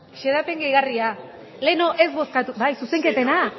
xedapen gehigarria lehen ez bozkatu bai zuzenketena